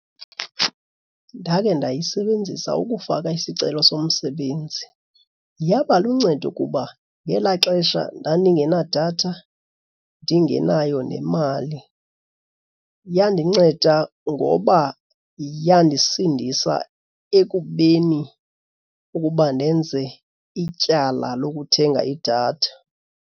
Ndakhe ndayisebenzisa ukufaka isicelo somsebenzi. Yaba luncedo kuba ngelaa xesha ndandingenadatha ndingenayo nemali. Yandinceda ngoba yandisindisa ekubeni ukuba ndenze ityala lokuthenga idatha.